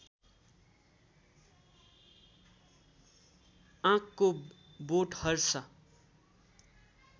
आँकको वोट हर्षा